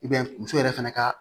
muso yɛrɛ fɛnɛ ka